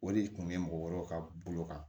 O de kun be mɔgɔ wɛrɛw ka bolo kan